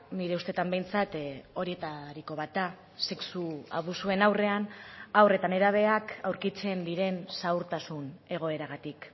nire ustetan behintzat horietariko bat da sexu abusuen aurrean haur eta nerabeak aurkitzen diren zaurtasun egoeragatik